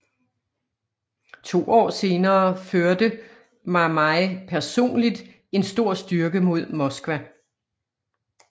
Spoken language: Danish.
To år senere førte Mamai personligt en stor styrke mod Moskva